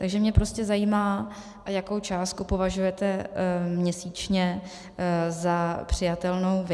Takže mě prostě zajímá, jakou částku považujete měsíčně za přijatelnou vy.